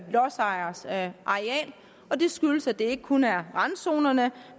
lodsejeres areal og det skyldes at det ikke kun er randzonerne